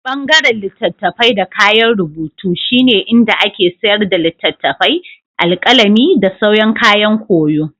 Ɓangaren litattafai da kayan rubutu shine inda ake sayar da littattafai, alƙalami, da sauran kayan koyo.